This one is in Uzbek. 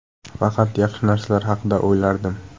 Faqat yaxshi narsalar haqida o‘ylardim.